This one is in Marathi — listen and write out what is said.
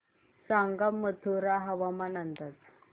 सांगा मथुरा हवामान अंदाज